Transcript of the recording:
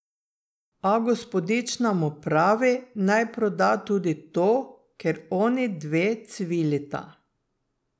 A gospodična mu pravi, naj proda tudi to, ker oni dve cvilita.